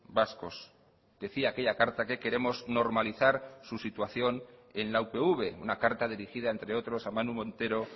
vascos decía aquella carta que queremos normalizar su situación en la upv una carta dirigida entre otros a manu montero